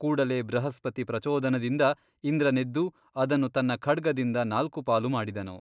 ಕೂಡಲೇ ಬೃಹಸ್ಪತಿ ಪ್ರಚೋದನದಿಂದ ಇಂದ್ರನೆದ್ದು ಅದನ್ನು ತನ್ನ ಖಡ್ಗದಿಂದ ನಾಲ್ಕು ಪಾಲು ಮಾಡಿದನು.